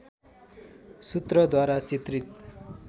सूत्रद्वारा चित्रित